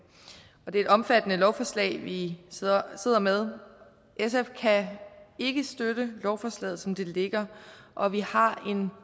det er et omfattende lovforslag vi sidder sidder med sf kan ikke støtte lovforslaget som det ligger og vi har en